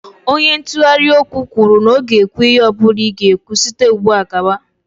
Onye ntụgharị okwu kwuru na ọ ga-ekwu ihe ọ bụla ị ga-ekwu site ugbu a gawa.